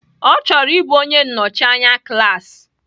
Ọ chọrọ ịbụ onye nnọchi anya klaasị